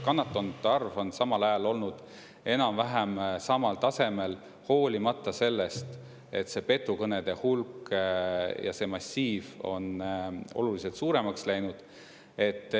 Kannatanute arv on olnud enam-vähem samal tasemel, hoolimata sellest, et petukõnede hulk ja massiiv on oluliselt suuremaks läinud.